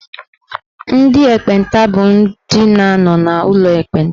Ndị ekpenta bụ ndị na-anọ n'ụlọ ekpenta.